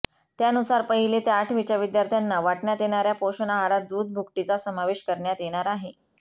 त्यानुसार पहिली ते आठवीच्या विद्यार्थ्यांना वाटण्यात येणाऱ्या पोषण आहारात दूध भुकटीचा समावेश करण्यात येणार आहे